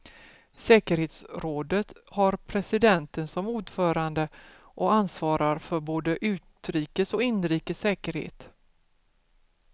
Säkerhetsrådet har presidenten som ordförande och ansvarar för både utrikes och inrikes säkerhet.